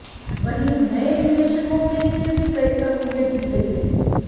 वहीं नए निवेशकों के लिए भी कई सहूलियत दी गई है